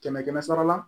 Kɛmɛ kɛmɛ sara la